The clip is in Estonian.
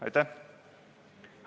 Aitäh!